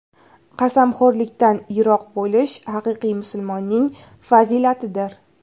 Qasamxo‘rlikdan yiroq bo‘lish haqiqiy musulmonning fazilatidir.